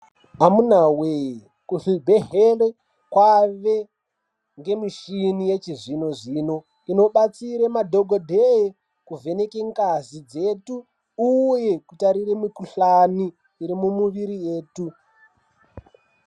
Vamunawee kuzvibhedhlera kwave nemichini yechizvino-zvino inobatsire madhokodheya kuvheneke ngazi dzedu uye kutarire mukuhlani iri mumiviri yetu.